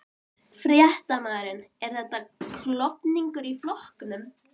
Fréttamaður: Er þetta klofningur í flokknum?